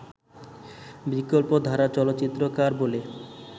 বিকল্পধারার চলচ্চিত্রকার বলে